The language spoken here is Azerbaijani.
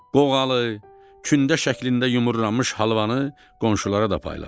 Qoğalı, kündə şəklində yumurlanmış halvanı qonşulara da payladılar.